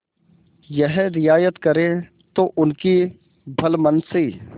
यह रियायत करें तो उनकी भलमनसी